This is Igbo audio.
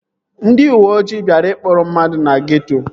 Ndị uweojii bịara ịkpụrụ mmadụ na geeto